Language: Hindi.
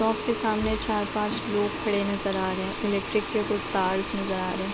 शॉप के सामने चार पांच लोग खड़े नज़र आ रहे हैं इलेक्ट्रिक के कुछ तार नज़र आ रहे हैं।